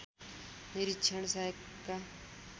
निरीक्षण सहायकका